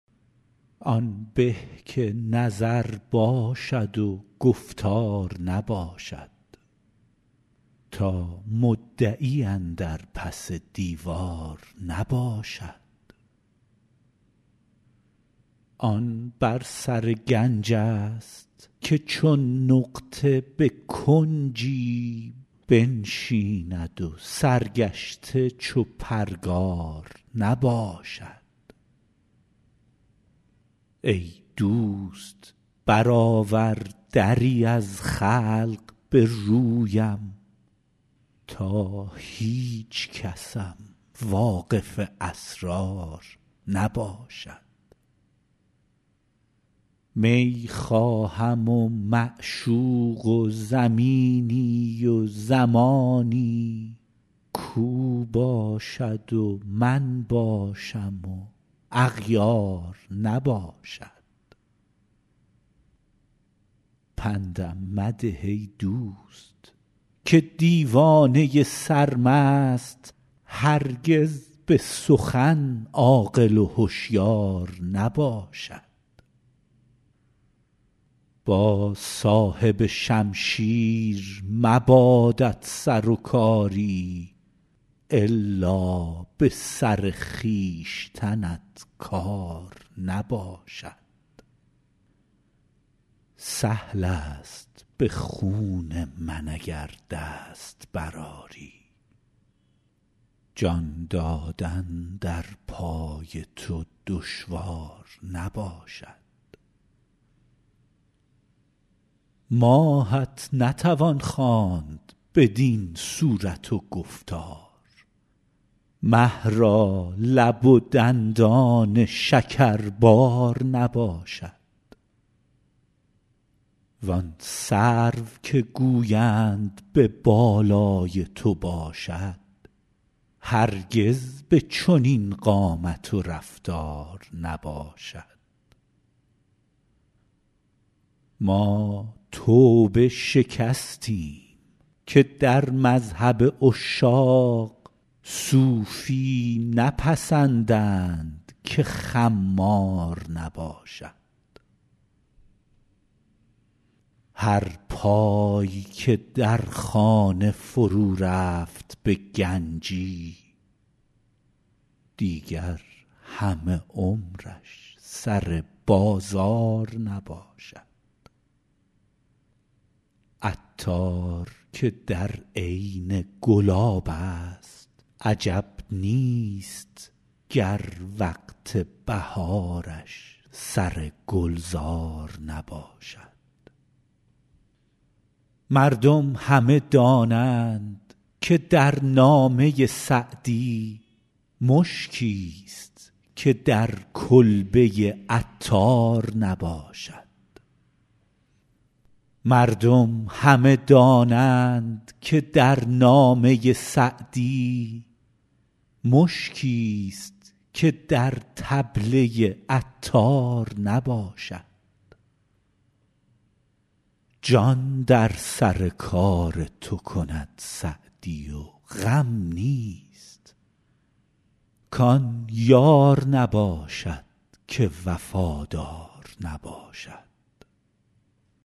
آن به که نظر باشد و گفتار نباشد تا مدعی اندر پس دیوار نباشد آن بر سر گنج ست که چون نقطه به کنجی بنشیند و سرگشته چو پرگار نباشد ای دوست برآور دری از خلق به رویم تا هیچکسم واقف اسرار نباشد می خواهم و معشوق و زمینی و زمانی کاو باشد و من باشم و اغیار نباشد پندم مده ای دوست که دیوانه سرمست هرگز به سخن عاقل و هشیار نباشد با صاحب شمشیر مبادت سر و کاری الا به سر خویشتنت کار نباشد سهل است به خون من اگر دست برآری جان دادن در پای تو دشوار نباشد ماهت نتوان خواند بدین صورت و گفتار مه را لب و دندان شکربار نباشد وان سرو که گویند به بالای تو باشد هرگز به چنین قامت و رفتار نباشد ما توبه شکستیم که در مذهب عشاق صوفی نپسندند که خمار نباشد هر پای که در خانه فرو رفت به گنجی دیگر همه عمرش سر بازار نباشد عطار که در عین گلاب است عجب نیست گر وقت بهارش سر گلزار نباشد مردم همه دانند که در نامه سعدی مشکیست که در کلبه عطار نباشد جان در سر کار تو کند سعدی و غم نیست کان یار نباشد که وفادار نباشد